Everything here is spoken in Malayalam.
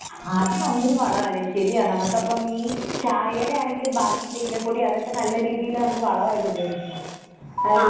അത് നല്ലൊരു വളാലെ? ശരിയാ നമുക്കപ്പം ഈ ചായേടെ ആണെങ്കിലും ബാക്കി തേയിലപ്പൊടി അതൊക്കെ നല്ല രീതിയില് വളമായിട്ടുപയോഗിക്കാം അല്ലേ?